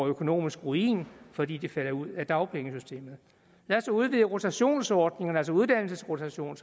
økonomisk ruin fordi de falder ud af dagpengesystemet lad os udvide rotationsordningerne altså uddannelsesrotation